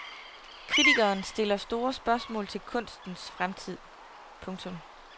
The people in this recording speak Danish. Kritikeren stiller store spørgsmål til kunstens fremtid. punktum